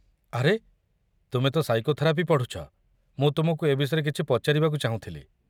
ଆରେ, ତୁମେ ତ ସାଇକୋଥେରାପି ପଢ଼ୁଛ, ମୁଁ ତୁମକୁ ଏ ବିଷୟରେ କିଛି ପଚାରିବାକୁ ଚାହୁଁଥିଲି।